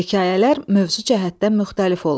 Hekayələr mövzu cəhətdən müxtəlif olur.